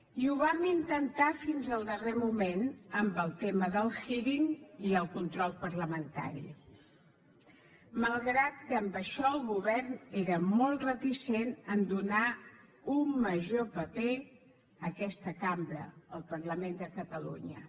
i ho vam intentar fins al darrer moment amb el tema del hearing i el control parlamentari malgrat que amb això el govern era molt reticent a donar un major paper a aquesta cambra al parlament de catalunya